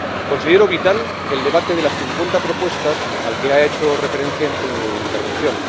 Considero vital el debate de las 50 propuestas al que ha hecho referencia en su intervención.